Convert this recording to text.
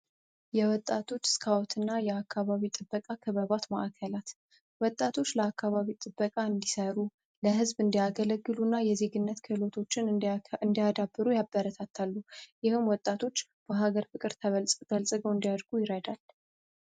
የወጣቶች ስካዎት እና የአካባቢው ጥበቃ ክበባት ማዕከላት ወጣቶች ለአካባቢው ጥበቃ እንዲሰሩ ፣ለህዝብ እንዲያገለግሉ እና የዜግነት ክዕሎቶችን እንዲያዳበሩ ያበረታታሉ ይህም ወጣቶች በሀገር ፍቅር በልጽገው እንዲያድጉ ይረዳል።